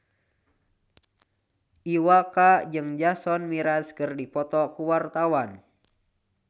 Iwa K jeung Jason Mraz keur dipoto ku wartawan